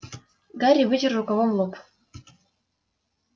гарри вытер рукавом лоб